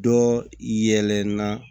Dɔ yɛlɛn na